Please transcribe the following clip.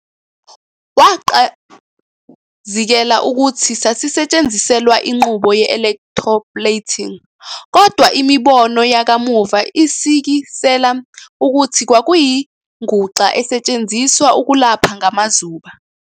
Waqazikela ukuthi sasisetshenziselwa inqubo ye-"electroplating", kodwa imibono yakamuva isikisela ukuthi kwakuyinguxa esetshenziswa ukulapha ngamazuba.